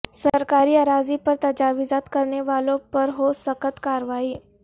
سرکاری اراضی پر تجاوزات کرنے والوں پر ہو سخت کاروائی